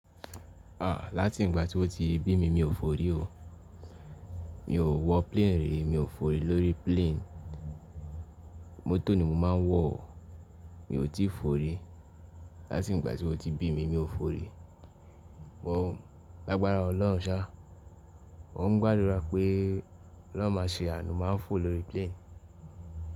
À, láti ìgbà tí ó ti bí mi mi ò fòrí o. Mi ò wọ plane rí, mi ò fòrí lórí plane. Mọ́tò ni mo máa ń wọ̀ o. Mi ò tí fòrí. Láti ìgbà tí ó ti bí mi mi ò fòrí. Mo, lágbára Ọlọ́run ṣá, mò ń gbàdúrà pé ol'oun máa ṣe iyànu, màá fò lórí plane.